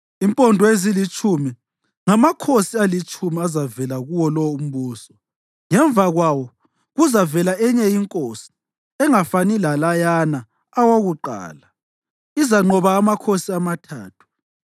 Impondo ezilitshumi ngamakhosi alitshumi azavela kuwo lo umbuso. Ngemva kwawo kuzavela enye inkosi engafani lalayana awokuqala; izanqoba amakhosi amathathu.